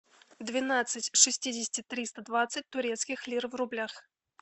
двенадцать шестидесяти триста двадцать турецких лир в рублях